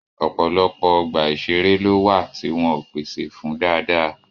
Ọ̀pọ̀lọpọ̀ ọgbà ìṣeré ló wà tí wọn ò pèsè fún dáadáa